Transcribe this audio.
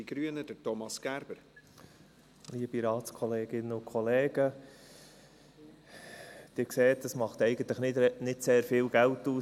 Sie sehen, diese 2,5 Prozent machen eigentlich nicht sehr viel Geld aus.